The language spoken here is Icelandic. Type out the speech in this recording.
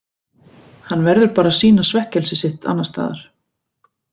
Hann verður bara að sýna svekkelsi sitt annars staðar.